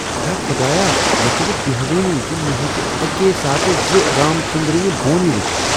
ہتا خُدایاہ، مےٚ چھنہٕ بیہوانٕے ز مےٚ ہیٚچہ اکی ساتہٕ زٕ رام ژنٛدرٕنہ بونہ وچھتھ۔